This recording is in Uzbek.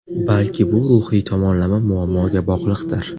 Balki bu ruhiy tomonlama muammoga bog‘liqdir.